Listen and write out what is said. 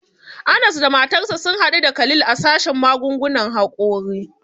Anas da matarsa sun hadu da Khalil a sashen magungunan hakori.